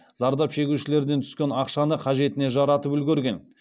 зардап шегушілерден түскен ақшаны қажетіне жаратып үлгерген